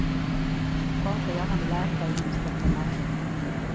Prata gärna med läkare innan du skaffar lampa.